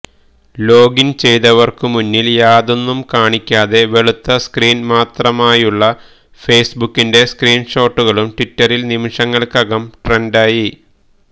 login ചെയ്തവർക്കു മുന്നിൽ യാതൊന്നും കാണിക്കാതെ വെളുത്ത സ്ക്രീൻ മാത്രമായുള്ള ഫെയ്സ്ബുക്കിന്റെ സ്ക്രീൻ ഷോട്ടുകളും ട്വിറ്ററിൽ നിമിഷങ്ങൾക്കകം ട്രെൻഡായി